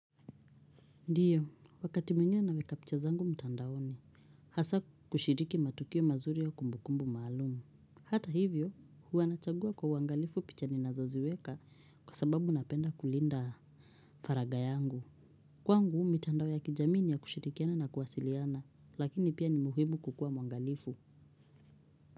Ndiyo, wakati mwingine naweka picha zangu mtandaoni, hasaa kushiriki matukio mazuri ya kumbukumbu maalum. Hata hivyo, huwa nachagua kwa uangalifu picha ninazoziweka kwa sababu napenda kulinda faraga yangu. Kwangu mitandao ya kijamii ni ya kushirikiana na kuwasiliana, lakini pia ni muhimu kukua mwangalifu.